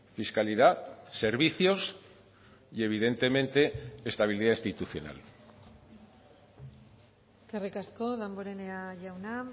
fiscalidad servicios y evidentemente estabilidad institucional eskerrik asko damborenea jauna